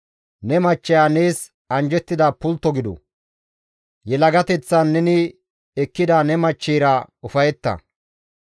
Ne machcheya nees anjjettida pultto gidu; yelagateththan neni ekkida ne machcheyra ufayetta.